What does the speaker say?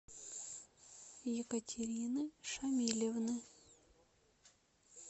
екатерины шамилевны